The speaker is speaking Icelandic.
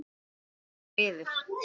Loksins friður!